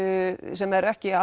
sem er ekki